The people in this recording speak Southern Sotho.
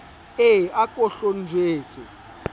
e a ko hlo ntjwetse